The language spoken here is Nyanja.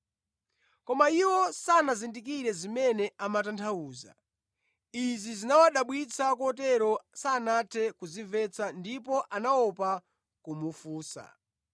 Koma iwo sanazindikire zimene amatanthauza. Izi zinawadabwitsa kotero sanathe kuzimvetsa ndipo anaopa kumufunsa.